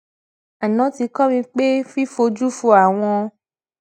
aná ti kó mi pé fífojú fo àwọn